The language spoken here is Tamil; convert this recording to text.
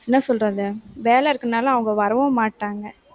என்ன சொல்றது? வேலை இருக்கறதுனால, அவங்க வரவும் மாட்டாங்க.